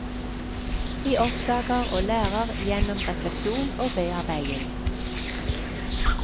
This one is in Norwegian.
De oppdager og lærer gjennom refleksjon og bearbeiding.